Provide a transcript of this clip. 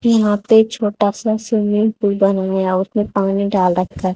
यहां पे छोटा सा स्विमिंग पूल बनाया उसने पानी डाल रखा--